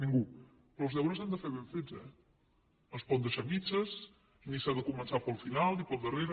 ningú però els deures s’han de fer ben fets eh no es poden deixar a mitges ni s’han de començar pel final pel darrere